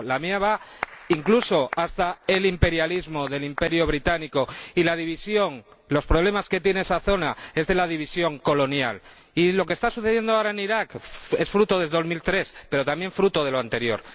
Mi memoria va incluso hasta el imperialismo del Imperio británico y la división los problemas que tiene esa zona vienen de la división colonial, y lo que está sucediendo ahora en Irak es fruto de 2003, pero también fruto de lo anterior.